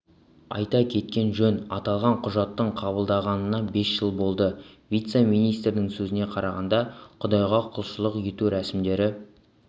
айта кеткен жөн аталған құжаттың қабылданғанына бес жыл болды вице-министрдің сөзіне қарағанда құдайға құлшылық ету рәсімдері